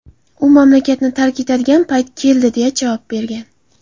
U mamlakatni tark etadigan payt keldi”, deya javob bergan.